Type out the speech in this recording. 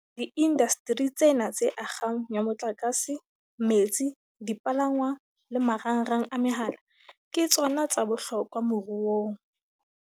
Diindasteri tsena tse akgang ya motlakase, metsi, dipalangwang le marangrang a mehala, ke tsona tsa bohlokwa moruong.